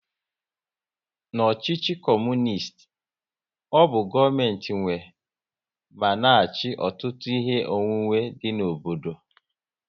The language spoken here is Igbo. N'ọchịchị Kọmunist, ọ bụ gọọmenti nwe ma na achị ọtụtụ ihe onwunwe dị n'obodo